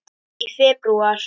Í febrúar